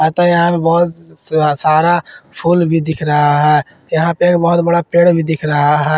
तथा यहां पे बहुत स सारा फूल भी दिख रहा है यहां पे बहुत बड़ा पेड़ भी दिख रहा है।